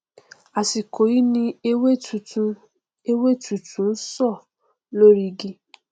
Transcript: àsìkò yí ni ewé titun ewé tútù ń so lórí igi